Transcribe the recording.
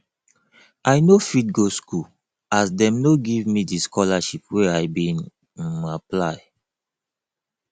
i no fit go school as dem no give me di scholarship wey i bin um apply